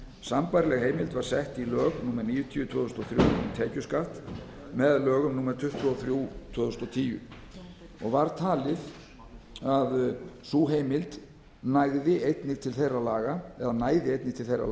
sambærileg heimild var sett í lög númer níutíu tvö þúsund og þrjú um tekjuskatt með lögum númer tuttugu og þrjú tvö þúsund og tíu og var talið að sú heimild næði einnig til þeirra